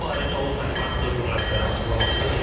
Bu barədə o Danimarkada jurnalistlərə açıqlamasında deyib.